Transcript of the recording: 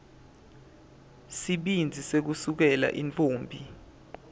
sibindzi sekusukela intfombi